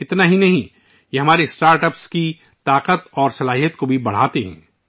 یہی نہیں، یہ ہمارے اسٹارٹ اَپس کی طاقت اور صلاحیت کو بھی بڑھاتا ہے